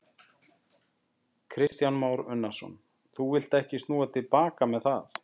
Kristján Már Unnarsson: Þú villt ekki snúa til baka með það?